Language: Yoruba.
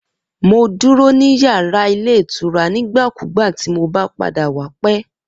Mo duro ni yara ilé ìtura nigbakugba ti mo ba pada wa pẹ.